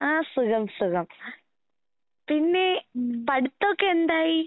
ആഹ് സുഖം സുഖം. പിന്നേ പഠിത്തോക്കെ എന്തായി?